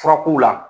Furakow la